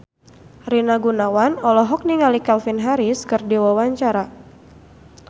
Rina Gunawan olohok ningali Calvin Harris keur diwawancara